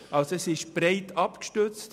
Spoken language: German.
Es ist also breit abgestützt.